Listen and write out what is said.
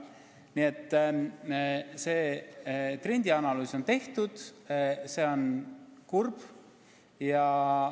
Nii et see analüüs on tehtud ja pilt on kurb.